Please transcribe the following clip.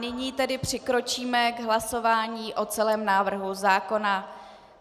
Nyní tedy přikročíme k hlasování o celém návrhu zákona.